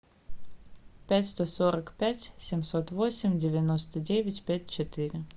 пять сто сорок пять семьсот восемь девяносто девять пять четыре